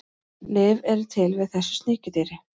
Lyf eru til við þessu sníkjudýri.